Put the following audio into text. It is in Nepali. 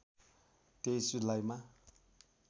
२३ जुलाईमा